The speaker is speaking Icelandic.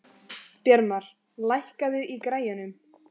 Bjarmar, lækkaðu í græjunum.